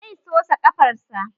Zai sosa ƙafarsa